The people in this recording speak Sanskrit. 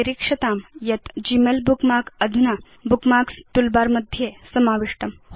निरीक्षतां यत् ग्मेल बुकमार्क अधुना बुकमार्क्स् टूलबार मध्ये समाविष्टम्